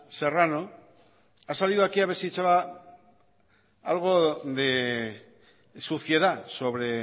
serrano ha salido aquí a ver si echaba algo de suciedad sobre